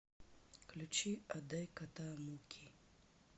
включи отдай кота мукки